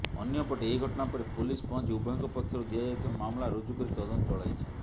ଅନ୍ୟପଟେ ଏହି ଘଟଣା ପରେ ପୋଲିସ ପହଞ୍ଚି ଉଭୟଙ୍କ ପକ୍ଷରୁ ଦିଆଯାଇଥିବା ମାମଲା ରୁଜୁ କରି ତଦନ୍ତ ଚଳାଇଛି